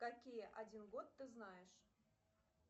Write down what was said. какие один год ты знаешь